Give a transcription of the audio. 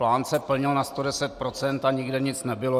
Plán se plnil na 110 %, a nikde nic nebylo.